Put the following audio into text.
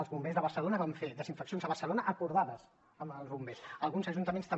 els bombers de barcelona van fer desinfeccions a barcelona acordades amb els bombers alguns ajuntaments també